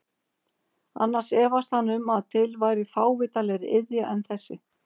Annars efaðist hann um að til væri fávitalegri iðja en þessi.